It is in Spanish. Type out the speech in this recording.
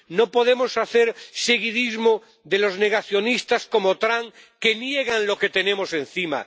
No podemos hacer seguidismo de los negacionistas como Trump, que niegan lo que tenemos encima.